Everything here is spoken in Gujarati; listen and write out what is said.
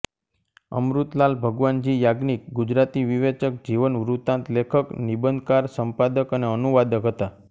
અમૃતલાલ ભગવાનજી યાજ્ઞિક ગુજરાતી વિવેચક જીવનવૃતાંત લેખક નિબંધકાર સંપાદક અને અનુવાદક હતા